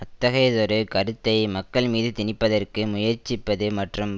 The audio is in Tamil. அத்தகையதொரு கருத்தை மக்கள்மீது திணிப்பதற்கு முயற்சிப்பது மற்றும்